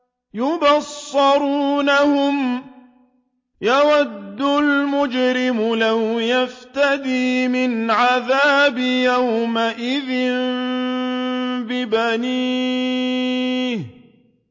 يُبَصَّرُونَهُمْ ۚ يَوَدُّ الْمُجْرِمُ لَوْ يَفْتَدِي مِنْ عَذَابِ يَوْمِئِذٍ بِبَنِيهِ